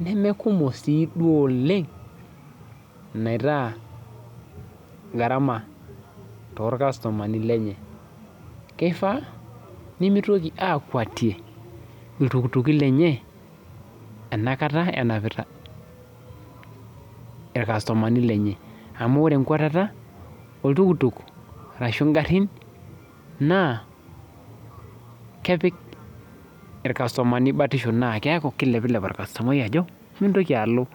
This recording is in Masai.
nemekumok siiduo oleng neme garama toorkasutumani lenye keifaa negira aakweti iltukutuki lenye enakata enapita irkasutumani lenye amu ore enkwatata oltukutuk ashu ingarin naa kepik irkasutumani batisho naa keeku keilepilep orkasutumai ajo mintoki alo